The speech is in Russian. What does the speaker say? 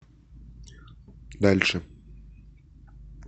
дальше